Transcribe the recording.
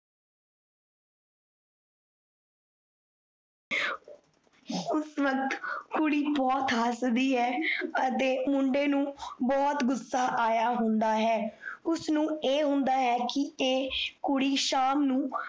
ਉਸ ਵੱਕਤ ਕੁੜੀ ਬਹੁਤ ਹਸਦੀ ਹੈ, ਅਤੇ ਮੁੰਡੇ ਨੂੰ ਬਹੁਤ ਗੁੱਸਾ ਆਇਆ ਹੁੰਦਾ ਹੈ। ਉਸਨੂੰ ਇਹ ਹੁੰਦਾ ਹੈ ਕੀ ਇਹ ਕੁੜੀ ਸ਼ਾਮ ਨੂੰ